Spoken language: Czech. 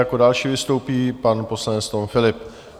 Jako další vystoupí pan poslanec Tom Philipp.